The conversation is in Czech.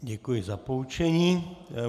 Děkuji za poučení.